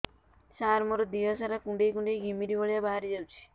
ସାର ମୋର ଦିହ ସାରା କୁଣ୍ଡେଇ କୁଣ୍ଡେଇ ଘିମିରି ଭଳିଆ ବାହାରି ଯାଉଛି